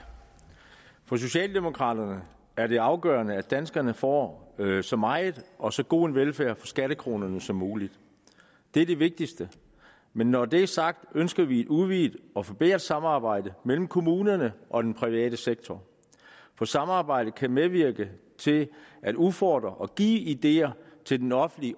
for socialdemokraterne er det afgørende at danskerne får så meget og så god en velfærd for skattekronerne som muligt det er det vigtigste men når det er sagt ønsker vi et udvidet og forbedret samarbejde mellem kommunerne og den private sektor for samarbejde kan medvirke til at udfordre og give ideer til den offentlige